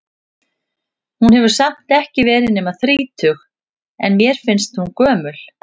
Hún hefur samt ekki verið nema þrítug, en mér fannst hún gömul.